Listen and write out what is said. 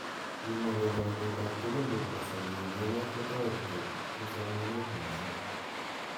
Kimwa kole walet ab tugun chebo kasari eng emet ko toreti eng somanet mising.